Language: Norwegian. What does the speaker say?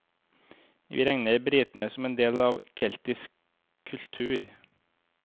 Vi regner britene som en del av keltisk kultur.